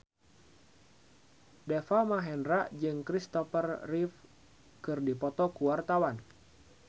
Deva Mahendra jeung Kristopher Reeve keur dipoto ku wartawan